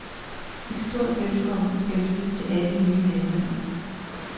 Et stort velkommen skal lyde til alle nye medlemmer.